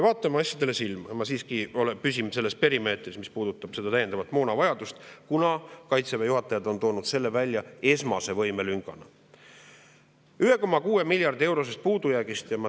Vaatame asjadele silma ja püsime selles perimeetris, mis puudutab täiendavat moonavajadust, kuna Kaitseväe juhatajad on toonud selle välja esmase võimelüngana: 1,6 miljardi eurone puudujääk.